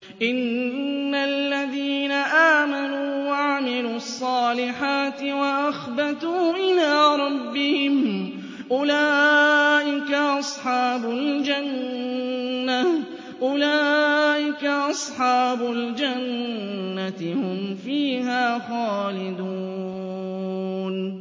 إِنَّ الَّذِينَ آمَنُوا وَعَمِلُوا الصَّالِحَاتِ وَأَخْبَتُوا إِلَىٰ رَبِّهِمْ أُولَٰئِكَ أَصْحَابُ الْجَنَّةِ ۖ هُمْ فِيهَا خَالِدُونَ